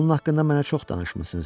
Onun haqqında mənə çox danışmısız.